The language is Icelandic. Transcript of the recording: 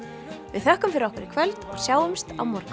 við þökkum fyrir okkur í kvöld og sjáumst á morgun